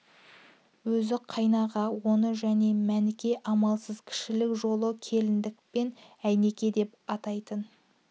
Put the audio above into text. өзі қайнаға оны және мәніке амалсыз кішілік жолы келіндікпен әйнеке деп атайтын